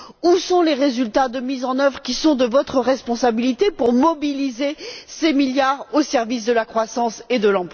Où sont les résultats de mise en œuvre qui sont de votre responsabilité pour mobiliser ces milliards au service de la croissance et de l'emploi?